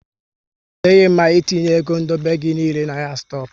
Ọ dịghị mma ị etinye égo dobe gị niile na ahịa stoku